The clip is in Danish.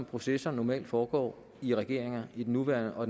processer normalt foregår i regeringer i den nuværende og